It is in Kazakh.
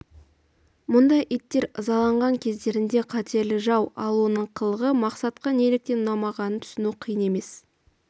мұндай иттер ызаланған кездерінде қатерлі жау ал оның қылығы мақсатға неліктен ұнамағанын түсіну қиын емес